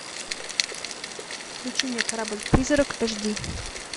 включи мне корабль призрак эш ди